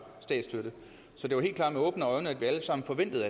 statsstøtte så det var helt klart at vi alle sammen forventede